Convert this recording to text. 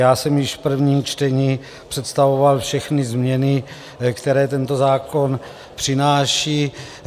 Já jsem již v prvním čtení představoval všechny změny, které tento zákon přináší.